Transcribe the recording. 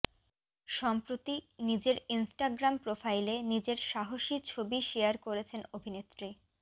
সম্প্রতি নিজের ইনস্টাগ্রাম প্রোফাইলে নিজের সাহসী ছবি শেয়ার করেছেন অভিনেত্রী